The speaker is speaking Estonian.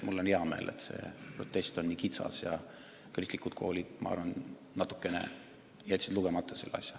Mul on hea meel, et see protest on nii kitsas, ja usun, et seegi tuleb sellest, et kristlikud koolid jätsid eelnõu põhjalikult läbi lugemata.